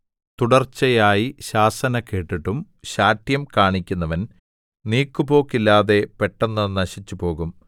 തുടർച്ചയായി ശാസന കേട്ടിട്ടും ശാഠ്യം കാണിക്കുന്നവൻ നീക്കുപോക്കില്ലാതെ പെട്ടെന്ന് നശിച്ചുപോകും